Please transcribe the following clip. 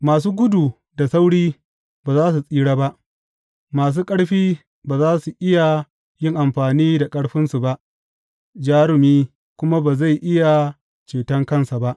Masu gudu da sauri ba za su tsira ba, masu ƙarfi ba za su iya yin amfani da ƙarfinsu ba, jarumi kuma ba zai iya ceton ransa ba.